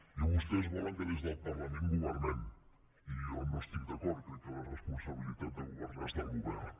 i vostès volen que des del parlament governem i jo no hi estic d’acord crec que la responsabilitat de governar és del govern